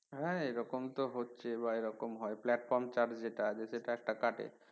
হ্যাঁ এরকম তো হচ্ছে বা এরকম হয় platform charge যেটা সেটা একটা কাটে